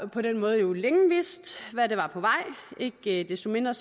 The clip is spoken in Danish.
på den måde jo længe vidst hvad der var på vej ikke desto mindre